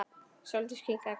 Sóldís kinkaði kolli.